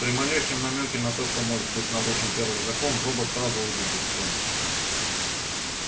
при малейшем намёке на то что может быть нарушен первый закон робот сразу выйдет из строя